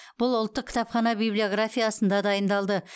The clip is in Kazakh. бұл ұлттық кітапхана библиографиясында дайындалды